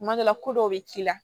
Kuma dɔ la ko dɔw bɛ k'i la